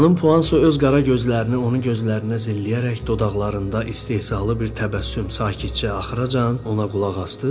Xanım Puan Soyu öz qara gözlərini onun gözlərinə zilləyərək dodaqlarında istehzalı bir təbəssüm sakitcə axıracan ona qulaq asdı.